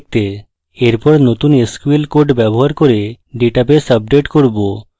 এরপর নতুন sql codes ব্যবহার করে ডেটাবেস আপডেট করব